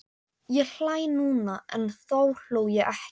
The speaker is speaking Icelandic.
Ég hlæ núna en þá hló ég ekki.